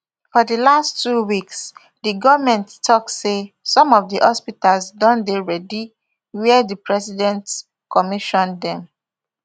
for di last two weeks di goment tok say some of di hospitals don dey ready wia di president commission dem